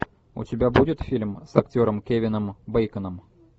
у тебя будет фильм с актером кевином бейконом